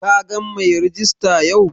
Ka gan mai rejista yau?